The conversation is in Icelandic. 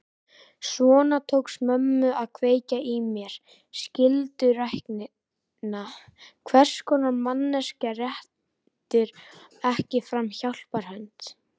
Svona tókst mömmu að kveikja í mér skylduræknina: Hvers konar manneskja réttir ekki fram hjálparhönd?